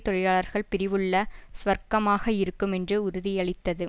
தொழிலாளர் பிரிவுள்ள சுவர்க்கமாக இருக்கும் என்று உறுதியளித்தது